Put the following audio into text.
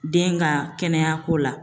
Den ga kɛnɛyako la